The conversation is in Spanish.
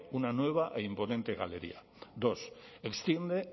una nueva e imponente galería dos extiende